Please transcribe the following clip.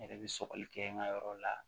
N yɛrɛ bɛ sɔgɔli kɛ n ka yɔrɔ la